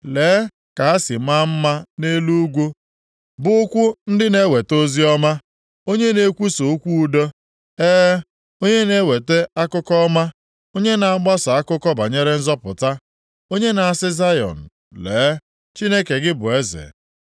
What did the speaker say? Lee ka ha si maa mma nʼelu ugwu bụ ụkwụ ndị na-eweta + 52:7 Maọbụ, na-ezisa oziọma, onye na-ekwusa okwu udo, e, onye na-eweta akụkọ ọma, onye na-agbasa akụkọ banyere nzọpụta, onye na-asị Zayọn, “Lee, Chineke gị bụ eze!”